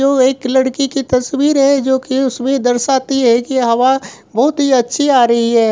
वो एक लड़की की तस्वीर है जो की उसमे दर्शाती है की हवा बहुत ही अच्छी आ रही है।